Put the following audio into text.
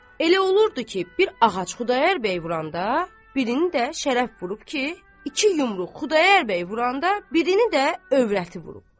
Elə olurdu ki, bir ağac Xudayar bəy vuranda, birini də Şərəf vurub ki, iki yumruq Xudayar bəy vuranda, birini də övrəti vurub.